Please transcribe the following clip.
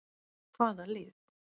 Hvaða lið?